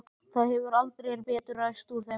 Það hefur heldur betur ræst úr þeim manni!